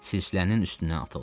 Sislənin üstünə atıldı.